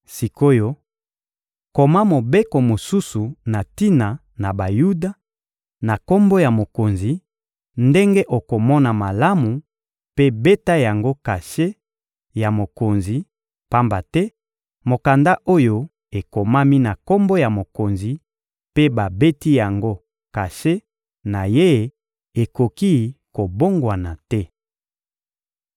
Sik’oyo, koma mobeko mosusu na tina na Bayuda, na kombo ya mokonzi, ndenge okomona malamu mpe beta yango kashe ya mokonzi; pamba te mokanda oyo ekomami na kombo ya mokonzi mpe babeti yango kashe na ye ekoki kobongwana te.